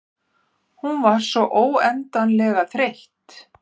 Hún var svo óendanlega þreytt.